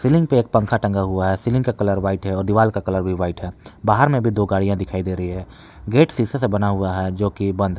ceiling पे एक पंखा टंगा हुआ है सीलिंग का कलर व्हाइट है और दीवाल का कलर भी वाइट है बाहर में भी दो गाड़ियां दिखाई दे रही है गेट सीसे से बना हुआ है जो कि बंद --